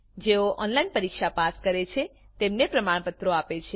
જેઓ ઓનલાઈન પરીક્ષા પાસ કરે છે તેમને પ્રમાણપત્રો આપે છે